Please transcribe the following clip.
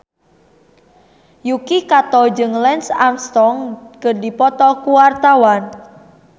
Yuki Kato jeung Lance Armstrong keur dipoto ku wartawan